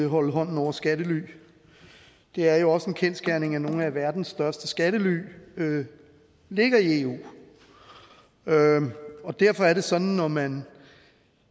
holde hånden over skattely det er jo også en kendsgerning at nogle af verdens største skattely ligger i eu og derfor er det sådan at når man